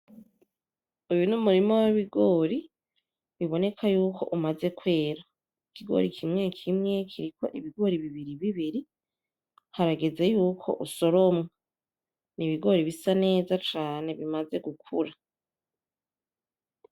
Uyu numurima w'ibigori biboneka yuko umaze kwera ikigori kimwe kimwe kiriko ibigori bibiri bibiri harageze yuko usoromwa nibigori bisa neza cane bimaze gukura.